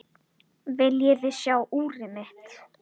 Viljiði sjá úrið mitt?